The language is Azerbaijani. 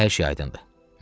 Hər şey aydındır.